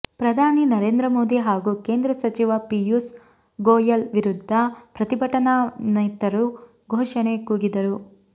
ಪ್ರಧಾನಿ ನರೇಂದ್ರಮೋದಿ ಹಾಗೂ ಕೇಂದ್ರ ಸಚಿವ ಪಿಯೂಸ್ ಗೋಯಲ್ ವಿರುದ್ಧ ಪ್ರತಿಭಟನಾನಿರತರು ಘೋಷಣೆ ಕೂಗಿದರು